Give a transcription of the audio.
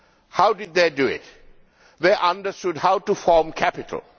How did they do it? They understood how to form capital.